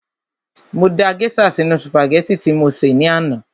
Mo da gèésà sínu sùpàgẹ́tì tí mo sè ní àná